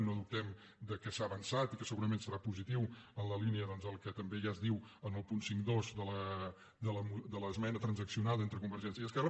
no dubtem que s’ha avançat i que segurament serà positiu en la línia doncs del que també ja es diu en el punt cinquanta dos de l’esmena transaccionada entre convergència i esquerra